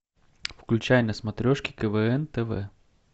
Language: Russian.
включай на смотрешке квн тв